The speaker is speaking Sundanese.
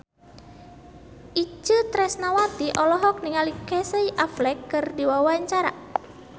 Itje Tresnawati olohok ningali Casey Affleck keur diwawancara